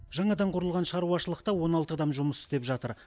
жаңадан құрылған шаруашылықта он алты адам жұмыс істеп жатыр